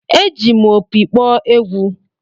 Eji m opi kpọọ egwú.